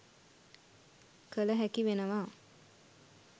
කළ හැකි වෙනවා.